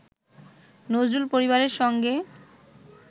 নজরুল পরিবারের সঙ্গে